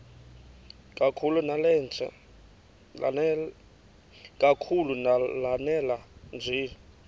kakhulu lanela nje